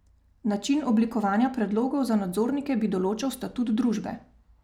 Način oblikovanja predlogov za nadzornike bi določal statut družbe.